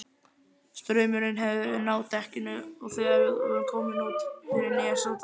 Straumurinn hefur náð dekkinu þegar komið var út fyrir nesoddann.